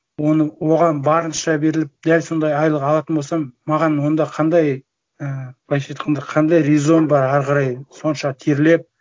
оған барынша беріліп дәл сондай айлық алатын болсам маған онда қандай і былайша айтқанда қандай резон бар ары қарай сонша терлеп